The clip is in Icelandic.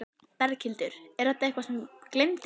Berghildur: Er þetta eitthvað sem gleymdist?